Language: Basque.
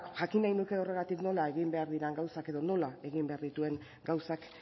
jakin nahi nuke horregatik nola egin behar diren gauzak edo nola egin behar dituen gauzak